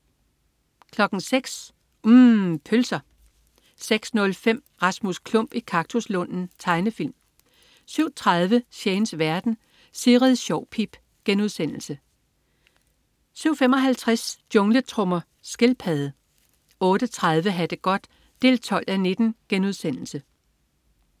06.00 UMM. Pølser 06.05 Rasmus Klump i kaktuslunden. Tegnefilm 07.30 Shanes verden. Sigrid Sjovpip * 07.55 Jungletrommer. Skildpadde 08.30 Ha' det godt 12:19*